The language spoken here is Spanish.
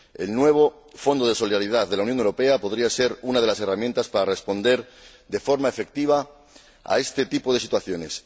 El nuevo Fondo de Solidaridad de la Unión Europea podría ser una de las herramientas para responder, de forma efectiva, a este tipo de situaciones.